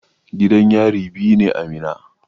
Gidan yari biyu ne a Minna.